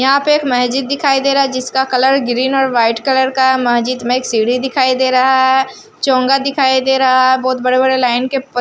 यहां पे एक मस्जिद दिखाई दे रहा है जिसका कलर ग्रीन और व्हाइट कलर का मस्जिद में एक सीडी दिखाई दे रहा है चोंगा दिखाई दे रहा है बहुत बड़े बड़े लाइन के पत्--